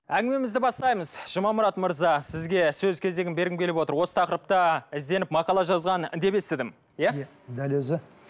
әңгімемізді бастаймыз жұмамұрат мырза сізге сөз кезегін бергім келіп отыр осы тақырыпта ізденіп мақала жазған деп естідім иә дәл өзі